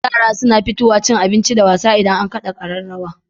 Yara na fitowa cin abinci da wasa idan an kada kararraw